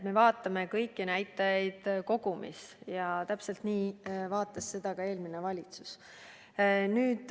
Me vaatame kõiki näitajaid kogumis ja täpselt nii vaatas olukrda ka eelmine valitsus.